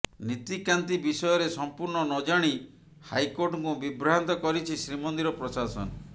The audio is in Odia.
ନୀତିକାନ୍ତି ବିଷୟରେ ସଂପୂର୍ଣ୍ଣ ନଜାଣି ହାଇକୋର୍ଟଙ୍କୁ ବିଭ୍ରାନ୍ତ କରିଛି ଶ୍ରୀମନ୍ଦିର ପ୍ରଶାସନ